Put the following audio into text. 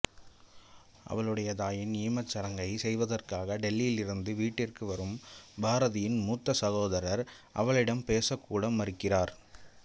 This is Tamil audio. அவளுடைய தாயின் ஈமச் சடங்கைச் செய்வதற்காக டில்லியிருந்து வீட்டிற்கு வரும் பாரதியின் மூத்த சகோதரர் அவளிடம் பேசக் கூட மறுக்கிறார்